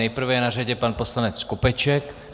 Nejprve je na řadě pan poslanec Skopeček.